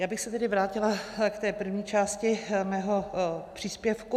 Já bych se tedy vrátila k té první části svého příspěvku.